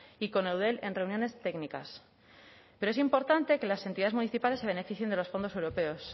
y con eudel en reuniones técnicas pero es importante que las entidades municipales se beneficien de los fondos europeos